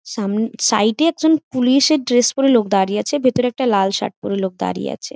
সাম side -এ একজন পুলিশের ড্রেস পরে লোক দাঁড়িয়ে আছে। ভিতরে একটা লাল শার্ট পরে লোক দাঁড়িয়ে আছে ।